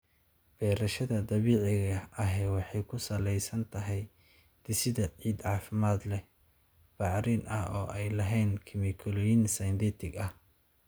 Beerashada dabiiciga ahi waxay ku salaysan tahay dhisidda ciid caafimaad leh, bacrin ah oo aan lahayn kiimikooyin synthetic ah.